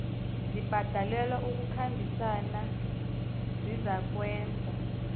zibhalelwa kukhambisana zizakwenza